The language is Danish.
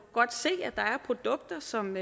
godt se at der er produkter som